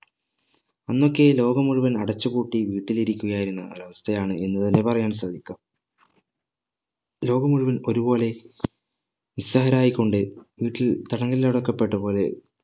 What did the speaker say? അന്നൊക്കെ ലോകം മുഴുവൻ അടച്ചു പൂട്ടി വീട്ടിൽ ഇരിക്കുകയായിരുന്ന ഒരവസ്ഥ ആണ് എന്ന് തന്നെ പറയാൻ സാധിക്കാം ലോകം മുഴുവൻ ഒരു പോലെ നിസ്സഹായരായിക്കൊണ്ട് വീട്ടിൽ തടങ്കലിൽ അടക്കപ്പെട്ടപോലെ